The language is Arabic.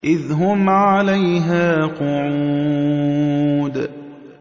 إِذْ هُمْ عَلَيْهَا قُعُودٌ